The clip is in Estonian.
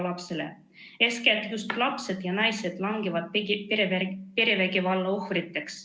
Eeskätt just lapsed ja naised langevad perevägivalla ohvriks.